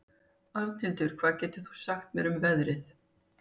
Arnhildur, hvað geturðu sagt mér um veðrið?